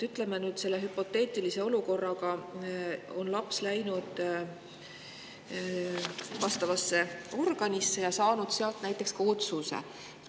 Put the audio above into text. Ütleme, et on hüpoteetiline olukord, kus laps on läinud vastavasse organisse ja saanud sealt ka näiteks otsuse.